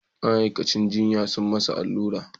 Ma'aikacin jinya sun masa allura